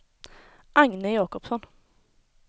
Agne Jacobsson